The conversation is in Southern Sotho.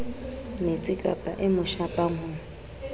metsikapa e mo shapang ho